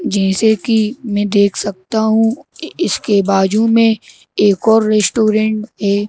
जैसे कि मैं देख सकता हूँ इ इसके बाजू में एक और रेस्टोरेंट है।